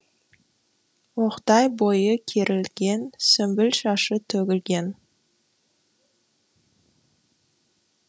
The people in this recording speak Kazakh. оқтай бойы керілген сүмбіл шашы төгілген